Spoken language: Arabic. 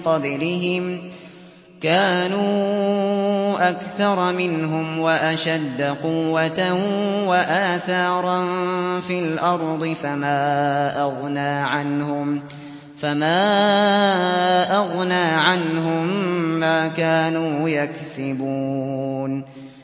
قَبْلِهِمْ ۚ كَانُوا أَكْثَرَ مِنْهُمْ وَأَشَدَّ قُوَّةً وَآثَارًا فِي الْأَرْضِ فَمَا أَغْنَىٰ عَنْهُم مَّا كَانُوا يَكْسِبُونَ